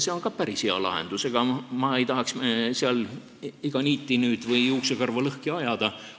See on ka päris hea lahendus, ega ma ei tahaks nüüd juuksekarva lõhki ajada.